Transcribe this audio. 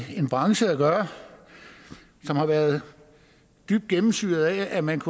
en branche at gøre som har været dybt gennemsyret af at man